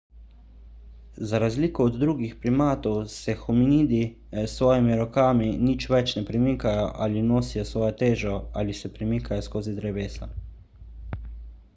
za razliko od drugih primatov se hominidi s svojimi rokami nič več ne premikajo ali nosijo svojo težo ali se premikajo skozi drevesa